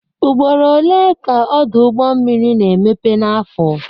Ugboro one ka Ọdụ ụgbọ mmiri na-emepe n'afọ?